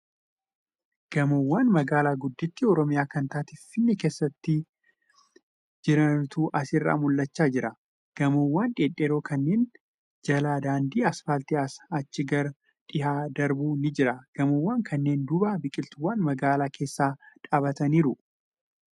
Gamoowwan magaalaa gudditti Oromiyaa kan taate Finfinnee keessa jirantu asirraa mul'achaa jira .Gamoowwan dhedheeroo kanneen jala daandiin aspaaltii asii achi gar dhihaa darbu ni jira . Gomoowwan kanneen duuba biqiltuuwwan magaalaa keessa dhaabataniiru.